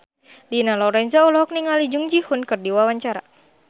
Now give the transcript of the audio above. Dina Lorenza olohok ningali Jung Ji Hoon keur diwawancara